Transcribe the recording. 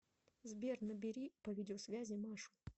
сбер набери по видеосвязи машу